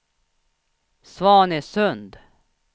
Svanesund